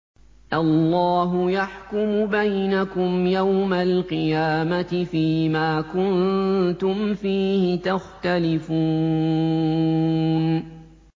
اللَّهُ يَحْكُمُ بَيْنَكُمْ يَوْمَ الْقِيَامَةِ فِيمَا كُنتُمْ فِيهِ تَخْتَلِفُونَ